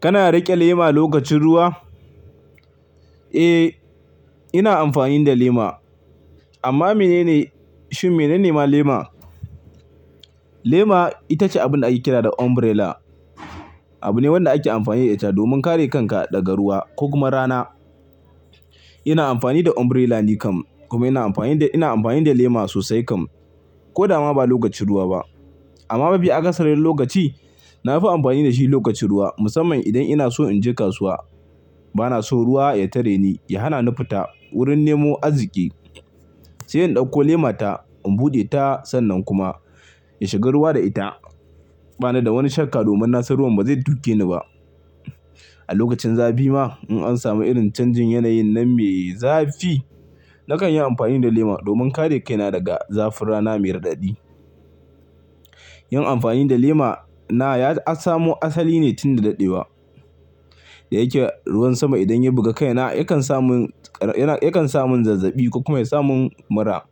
Kana riƙe lema lokacin ruwa? Eh, ina amfani da lema. Amma menene, shin menene ma lema? Lema ita ce abin da ake kira da umbrella. Abu ne wanda ake amfani da ita domin kare kanka daga ruwa ko kuma rana. Ina amfani da umbrella nikan kuma ina amfani da, ina amfani da lema sosai kan ko da ma ba lokacin ruwa ba. Amma mafi a ƙasarin lokaci na fi amfani da shi lokacin ruwa musamman idan ina so in je kasuwa. Bana so ruwa ya tare ni, ya hana ni fita wurin nemo aziki. Sai in ɗauko lema ta, in buɗe ta sannan kuma in shiga ruwa da ita. Bana da wani shakka domin na san ruwan ba zai duke ni ba. A lokacin zafi ma in an samu irin canjin yanayin man mai zafi, na kan yi amfani da lema domin kare kaina daga zafin rana mai raɗaɗi. Yin amfani da lema na ya samu asali ne tun da daɗewa. Da yake ruwan sama idan ya buga kaina yakan samu, yakan samu zazzaɓi ko kuma ya sa mun mura.